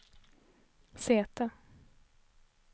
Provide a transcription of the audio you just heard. säte